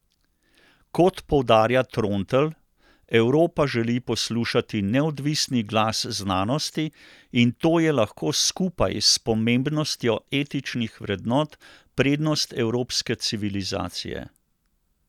Kot poudarja Trontelj, Evropa želi poslušati neodvisni glas znanosti in to je lahko skupaj s pomembnostjo etičnih vrednot prednost evropske civilizacije.